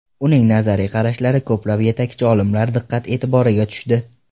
Uning nazariy qarashlari ko‘plab yetakchi olimlar diqqat-e’tiboriga tushdi.